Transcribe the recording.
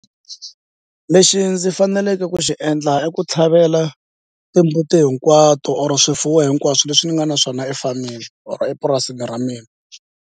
Lexi ndzi faneleke ku xi endla i ku tlhavela timbuti hinkwato or swifuwo hinkwaswo leswi ni nga na swona efameni or epurasini ra mina.